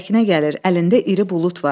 Səkinə gəlir, əlində iri bulud var.